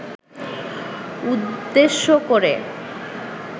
উদ্দেশ্য করে